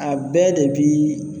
A bɛɛ de bi